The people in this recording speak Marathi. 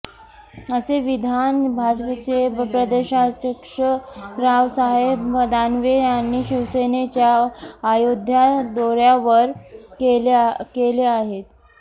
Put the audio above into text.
असे विधान भाजपचे प्रदेशाध्यक्ष रावसाहेब दानवे यांनी शिवसेनेच्या अयोध्या दौऱ्यावर केले आहे